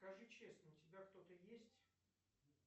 скажи честно у тебя кто то есть